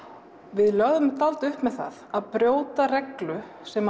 við lögðum upp með það að brjóta reglu sem